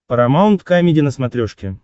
парамаунт камеди на смотрешке